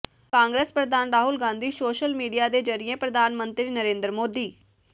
ਕਾਂਗਰਸ ਪ੍ਰਧਾਨ Rahul Gandhi social media ਦੇ ਜਰੀਏ ਪ੍ਰਧਾਨ ਮੰਤਰੀ ਨਰੇਂਦਰ ਮੋਦੀ